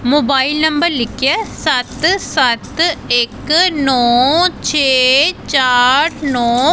Mobile number ਲਿਖਿਆ ਸੱਤ ਸੱਤ ਇੱਕ ਨੋ ਛੇ ਚਾਰ ਨੋ।